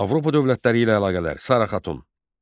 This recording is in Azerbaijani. Avropa dövlətləri ilə əlaqələr Sara Xatun.